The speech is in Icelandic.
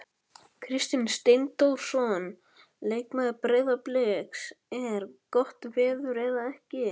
Kristinn Steindórsson leikmaður Breiðabliks: Er gott veður eða ekki?